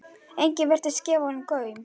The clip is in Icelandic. Enginn virtist gefa honum gaum.